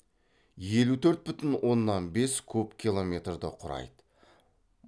елу төрт бүтін оннан бес куб километрді құрайды